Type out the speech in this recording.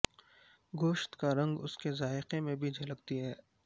گوشت کا رنگ اس کے ذائقہ میں بھی جھلکتی ہے